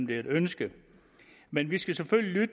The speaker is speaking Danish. det er et ønske men vi skal selvfølgelig